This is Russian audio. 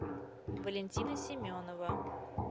валентина семенова